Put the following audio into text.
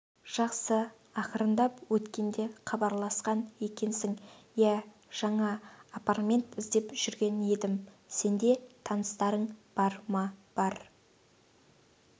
жақсы ақырындап өткенде хабарласқан екенсің иә жаңа апартмент іздеп жүрген едім сенде таныстарың бар ма бар